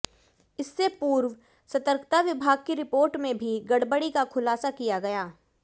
इससे पूर्व सतर्कता विभाग की रिपोर्ट में भी गड़बडी का खुलासा किया गया